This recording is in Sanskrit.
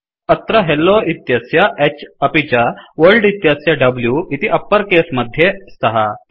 अत्र हेल्लो इत्यस्य H अपि च वर्ल्ड इत्यस्य W इति अप्पर केस मध्ये स्तः